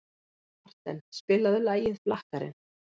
Marten, spilaðu lagið „Flakkarinn“.